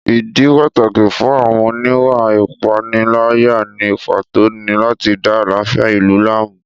Ìdí pàtàkì fún àwọn oníwà ìpániláyà ní pàtó ni láti da àlàáfíà ìlú láàmú